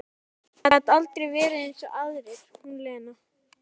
Gat aldrei verið eins og aðrir, hún Lena.